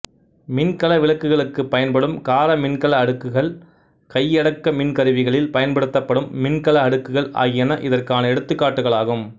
மின்கல விளக்குகளுக்குப் பயன்படும் கார மின்கல அடுக்குகள்கள் கையடக்க மின் கருவிகளில் பயன்படுத்தப்படும் மின்கல அடுக்குகள் ஆகியன இதற்கான எடுத்துக்காட்டுகளாகும்